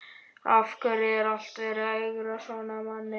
Af hverju er alltaf verið að ögra manni svona?